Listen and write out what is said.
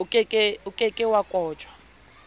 o ke ke wa kotjwa